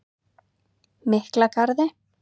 Miklagarði